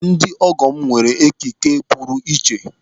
Ndị ọgọ m nwere ekike puru iche.